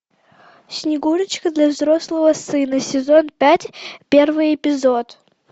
снегурочка для взрослого сына сезон пять первый эпизод